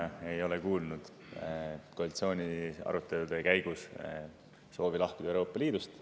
Mina ei ole kuulnud koalitsiooni arutelude käigus soovist lahkuda Euroopa Liidust.